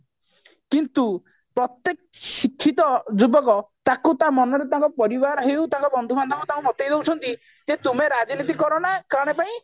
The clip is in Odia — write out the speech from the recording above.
କିନ୍ତୁ ପ୍ରତ୍ଯେକ ଶିକ୍ଷିତ ଯୁବକ ତାଙ୍କୁ ତା ମନରେ ତାଙ୍କ ପରିବାରରେ ହଉ ତାଙ୍କ ବନ୍ଧୁ ବାନ୍ଧବ ତାଙ୍କୁ ଦେଖେଇ ଦଉଛନ୍ତି ଯେ ତୁମେ ରାଜନୀତି କରନା କଣ ପାଇଁ